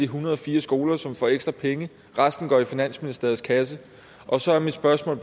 hundrede og fire skoler som får ekstra penge resten går i finansministeriets kasse og så er mit spørgsmål